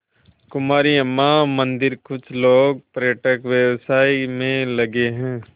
कुमारी अम्मा मंदिरकुछ लोग पर्यटन व्यवसाय में लगे हैं